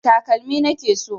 Takalmi na ke so.